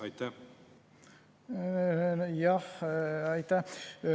Aitäh!